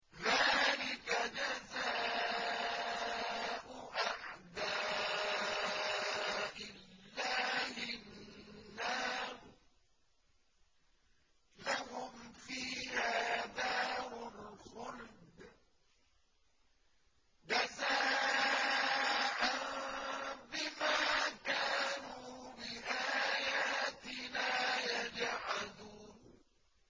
ذَٰلِكَ جَزَاءُ أَعْدَاءِ اللَّهِ النَّارُ ۖ لَهُمْ فِيهَا دَارُ الْخُلْدِ ۖ جَزَاءً بِمَا كَانُوا بِآيَاتِنَا يَجْحَدُونَ